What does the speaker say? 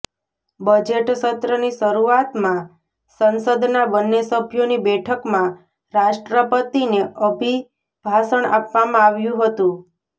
budget સત્રની શરુઆતમાં સંસદના બન્ને સભ્યોની બેઠકમાં રાષ્ટ્રપતિને અભિભાષણ આપવામાં આવ્યું હતું